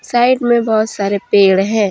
Side में बहुत सारे पेड़ है।